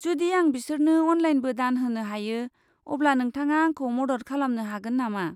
जुदि आं बिसोरनो अनलाइनबो दान होनो हायो, अब्ला नोंथाङा आंखौ मदद खालामनो हागोन नामा?